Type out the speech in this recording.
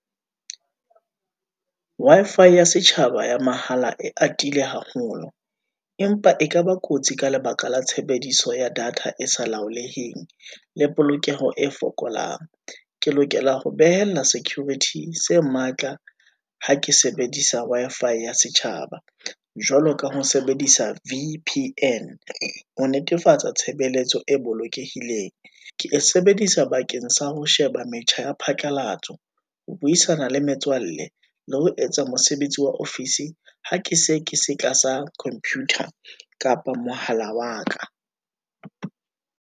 Wi-Fi ya setjhaba ya mahala e atile haholo, empa ekaba kotsi ka lebaka la tshebediso ya data e sa laholeheng, le polokeho e fokolang, ke lokela ho behella security se matla ha ke sebedisa Wi-Fi ya setjhaba. Jwalo ka ho sebedisa V_P_N, ho netefatsa tshebeletso e bolokehileng. Ke e sebedisa bakeng sa ho sheba metjha ya phatlalatso, ho buisana le metswalle, le ho etsa mosebetsi wa ofisi, ha ke se ke se tlasa computer, kapa mohala wa ka.